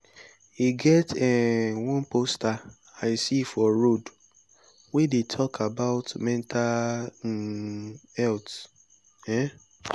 e get um one poster i see for road wey dey talk about mental um health um